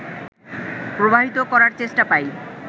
প্রবাহিত করার চেষ্টা পাই